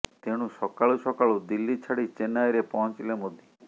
ତେଣୁ ସକାଳୁ ସକାଳୁ ଦିଲ୍ଲୀ ଛାଡି ଚେନ୍ନାଇରେ ପହଂଚିଲେ ମୋଦି